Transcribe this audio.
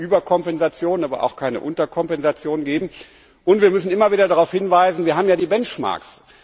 Es darf keine Überkompensation, aber auch keine Unterkompensation geben, und wir müssen immer wieder darauf hinweisen Wir haben ja die Benchmarks.